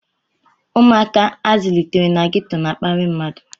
Ụmụaka a zụlitere na ghetọ na-akparị mmadụ.